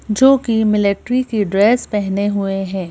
जो कि मिलिट्री की ड्रेस पहने हुए है।